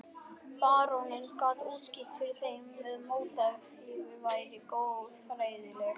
Baróninn gat útskýrt fyrir þeim að mótífin væru goðfræðileg.